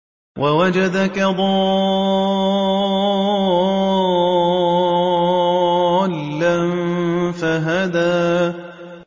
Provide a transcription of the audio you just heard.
وَوَجَدَكَ ضَالًّا فَهَدَىٰ